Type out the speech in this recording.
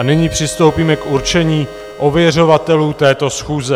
A nyní přistoupíme k určení ověřovatelů této schůze.